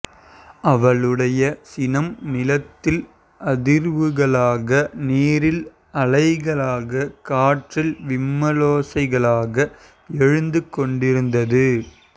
அவளுடைய சினம் நிலத்தில் அதிர்வுகளாக நீரில் அலைகளாக காற்றில் விம்மலோசைகளாக எழுந்துகொண்டிருந்தது